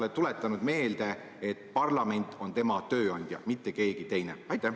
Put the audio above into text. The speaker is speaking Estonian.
Kas olete talle meelde tuletanud, et parlament on tema tööandja, mitte keegi teine?